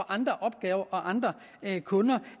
andre opgaver og andre kunder